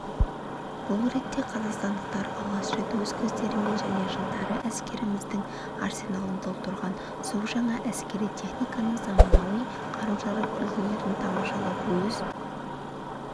бұл ретте қазақстандықтар алғаш рет өз көздерімен және жылдары әскеріміздің арсеналын толықтырған су жаңа әскери техниканы заманауи қару-жарақ үлгілерін тамашалап өз